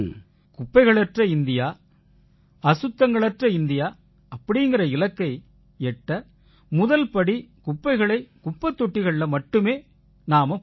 குப்பைகளற்ற India அசுத்தங்களற்ற India அப்படீங்கற இலக்கை எட்ட முதல் படி குப்பைகளைக் குப்பைத் தொட்டிகள்ல மட்டுமே நாம போடணும்